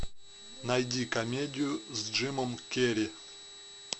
найди комедию с джимом керри